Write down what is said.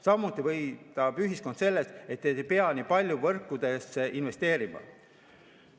Samuti võidab ühiskond sellest, et ei pea nii palju võrkudesse investeerima.